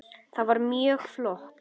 Það var mjög flott.